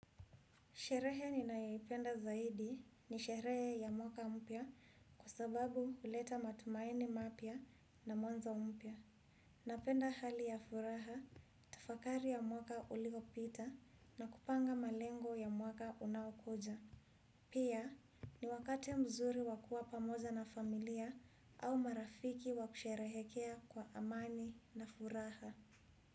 Sherehe ninayoipenda zaidi ni sherehe ya mwaka mpya kwa sababu huleta matumaini mapya na mwanzo mpya. Napenda hali ya furaha, tafakari ya mwaka uliopita na kupanga malengo ya mwaka unaokuja. Pia ni wakati mzuri wa kuwa pamoja na familia au marafiki wa kusherehekea kwa amani na furaha.